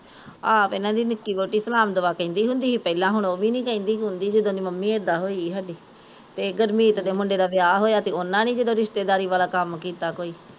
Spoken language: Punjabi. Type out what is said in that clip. ਆਪ ਏਹਨਾ ਦੀ ਨਿੱਕੀ ਵੋਹਟੀ ਸਲਾਮ ਦੁਆ ਕਹਿੰਦੀ ਹੁੰਦੀ ਸੀ ਪਹਿਲਾਂ ਹੁਣ ਓਹ ਵੀ ਨੀ ਕਹਿੰਦੀ ਕੁੰਦੀ ਜਦੋਂ ਮੰਮੀ ਇੱਦਾਂ ਹੋਈ ਸਾਡੀ ਤੇ ਗੁਰਮੀਤ ਦੀ ਮੁੰਡੇ ਦਾ ਵਿਆਹ ਹੋਇਆ ਤੇ ਜਦੋਂ ਓਹਨਾਂ ਨੀ ਰਿਸਤੇਦਾਰੀ ਵਾਲਾਂ ਕੰਮ ਕੀਤਾ ਕੋਈ